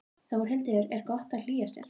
Þórhildur: Er gott að hlýja sér?